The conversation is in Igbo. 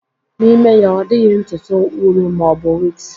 N'ime ya, ọ dịghị ntutu wuru ma ọ bụ wigs